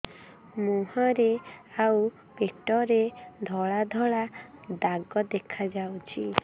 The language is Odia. ମୁହଁରେ ଆଉ ପେଟରେ ଧଳା ଧଳା ଦାଗ ଦେଖାଯାଉଛି